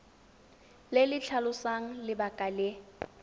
le le tlhalosang lebaka le